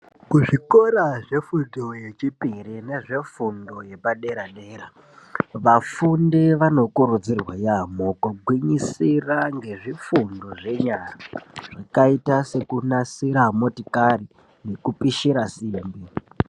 Kuzvikora zvefundo yechipiri nezvefundo yepadera-dera, vafundi vanokurudzirwa yaamho kugwinyisira ngezvifundo zvenyara zvakaita sekunasira motikari nekupishira simbi.